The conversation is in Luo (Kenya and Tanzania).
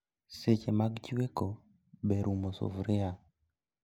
Seche mag chweko, ber umo sufria